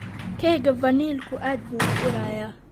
Keega vaniljku aad buu u urayaa.